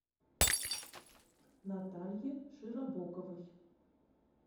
наталье широбоковой